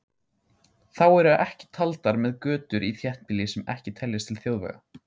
Þá eru ekki taldar með götur í þéttbýli sem ekki teljast til þjóðvega.